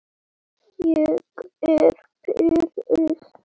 Ég er pirruð.